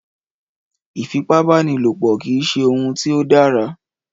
Ìfipábánilopọ̀ kìí ṣe òun tí ó dára.